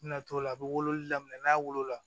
N bɛna t'o la a bɛ wololi daminɛ n'a wolo la